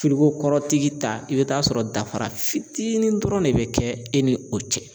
Firiko kɔrɔtigi ta i bɛ taa sɔrɔ dafara fitinin dɔrɔn de bɛ kɛ e ni o cɛ.